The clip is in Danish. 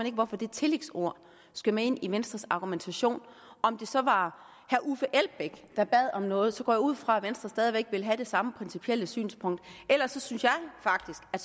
ikke hvorfor det tillægsord skal med ind i venstres argumentation om det så var herre uffe elbæk der bad om noget så går jeg ud fra at venstre stadig væk vil have det samme principielle synspunkt ellers synes jeg faktisk at